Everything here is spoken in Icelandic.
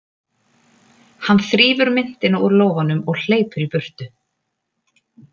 Hann þrífur myntina úr lófanum og hleypur í burtu.